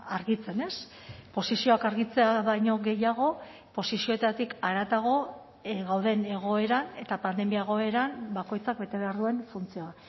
argitzen ez posizioak argitzea baino gehiago posizioetatik haratago gauden egoera eta pandemia egoeran bakoitzak bete behar duen funtzioa